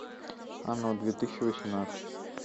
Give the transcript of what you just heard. оно две тысячи восемнадцать